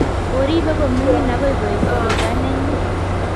koribei kominimg' agoi kooit gugae nyin